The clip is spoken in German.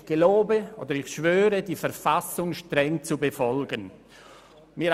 «Ich gelobe» – beziehungsweise «Ich schwöre, die Verfassung streng zu befolgen […].